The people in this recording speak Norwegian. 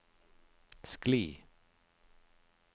skli